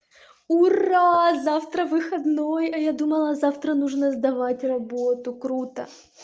ура завтра выходной а я думала завтра нужно сдавать работу круто